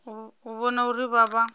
u vhona uri vha vha